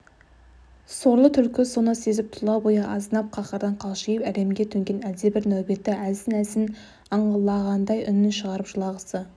сорлы түлкі соны сезіп тұла бойы азынап қаһардан қалшиып әлемге төнген әлдебір нәубетті әлсін-әлсін аңлағандай үнін шығарып жылағысы